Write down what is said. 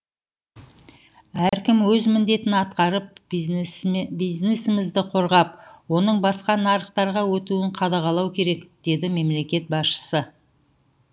әркім өз міндетін атқарып бизнесімізді қорғап оның басқа нарықтарға өтуін қадағалау керек деді мемлекет басшысы